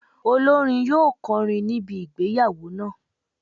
Olórin yóò kọrin ní ibi ìgbéyàwó náà.